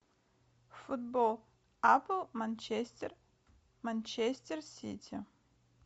футбол апл манчестер манчестер сити